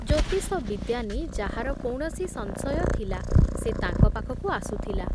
ଜ୍ୟୋତିଷ ବିଦ୍ୟା ନେଇ ଯାହାର କୌଣସି ସଂଶୟ ଥିଲା, ସେ ତାଙ୍କ ପାଖକୁ ଆସୁଥିଲା ।